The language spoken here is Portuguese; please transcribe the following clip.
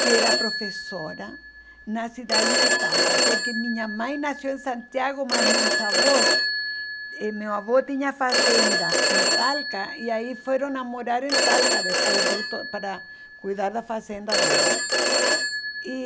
que era professora na cidade de Talca, porque minha mãe nasceu em Santiago, mas meus avós... e meu avô tinha fazenda em Talca, e aí foram a morar em Talca depois de uto para cuidar da fazenda dele e